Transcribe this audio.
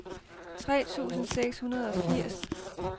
tre tusind seks hundrede og firs